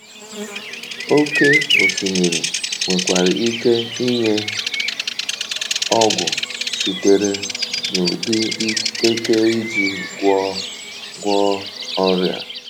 Oké osimiri nwekwara ike inye ọgwụ sitere um n’ụdị eke iji gwọọ gwọọ ọrịa.